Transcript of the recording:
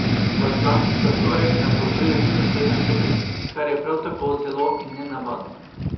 V Atlanti za torek napovedujejo minus sedem stopinj, kar je prav tako zelo nenavadno.